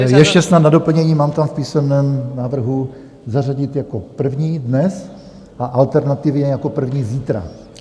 Ještě snad na doplnění, mám tam v písemném návrhu zařadit jako první dnes a alternativě jako první zítra.